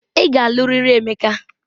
Ị ga-alụ riri Emeka!